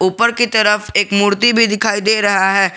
ऊपर की तरफ एक मूर्ति भी दिखाई दे रहा है।